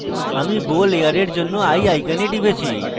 আমি bow layer জন্য eye icon টিপছি